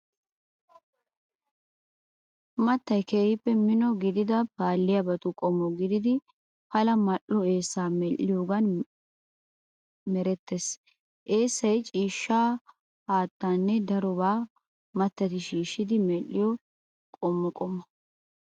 Mattay keehippe mino gidida paalliyaabatu qommo gididi pala mal"o eessaa medhdhiyoogan merettees. Eessay ciishshaa , haattanne darobaa mattati shishshidi medhdhiyo qumma qommo.